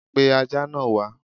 Pe Ajá náà wá!